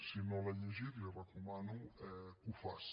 si no l’ha llegit li recomano que ho faci